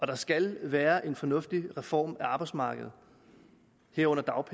der skal være en fornuftig reform af arbejdsmarkedet herunder